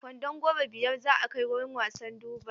Kwandon Goro biyar za a kai wurin wasan Durbar.